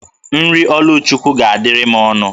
Nri Oluchukwu ga-adịrị m ọnụ